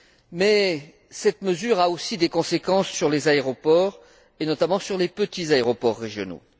Mais cette mesure a aussi des conséquences sur les aéroports et, notamment, sur les petits aéroports régionaux.